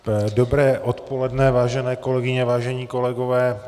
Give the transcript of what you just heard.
Dobré odpoledne, vážené kolegyně, vážení kolegové.